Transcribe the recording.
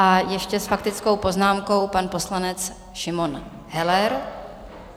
A ještě s faktickou poznámkou pan poslanec Šimon Heller.